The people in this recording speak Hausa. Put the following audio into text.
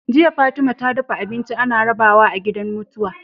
Jiya Fatima ta dafa abinci ana rabawa a gidan mutuwa